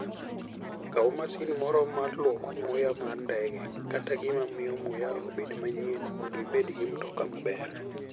Kaw masin moro mar lwoko muya mar ndege kata gima miyo muya obed manyien mondo ibed gi mtoka maber.